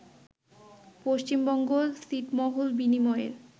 পশ্চিমবঙ্গ ছিটমহল বিনিময়ের